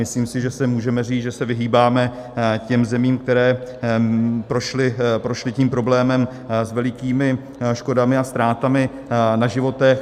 Myslím si, že se může říct, že se vyhýbáme těm zemím, které prošly tím problémem s velikými škodami a ztrátami na životech.